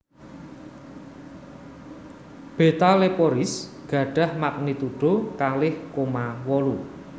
Beta Leporis gadhah magnitudo kalih koma wolu